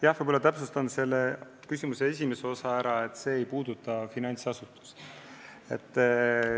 Jah, ma täpsustan, vastates küsimuse esimesele osale, et see ei puuduta finantsasutusi.